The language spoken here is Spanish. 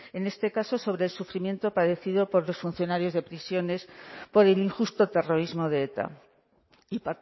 en este caso sobre el sufrimiento padecido por los funcionarios de prisiones por el injusto terrorismo de eta y